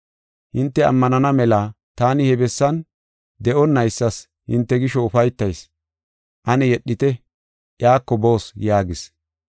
Hinte ammanana mela taani he bessan de7onaysas hinte gisho ufaytayis. Ane yedhite; iyako boos” yaagis.